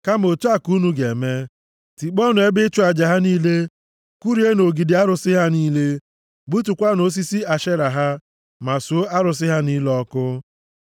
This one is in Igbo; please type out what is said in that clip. Kama otu a ka unu ga-eme: tikpọọnụ ebe ịchụ aja ha niile. Kụrienụ ogidi arụsị ha niile. Gbutukwaanụ osisi Ashera ha, ma suo arụsị ha niile ọkụ.